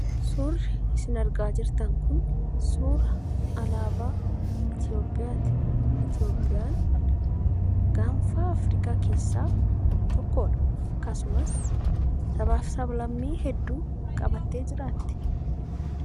Suurri isin argaa jirtan kun suura alaabaa Itoophiyaati. Itoophiyaan gaanfa Afrikaa keessaa tokkodha. Akkasumas sabaaf sab-lammii hedduu qabattee jiraatti.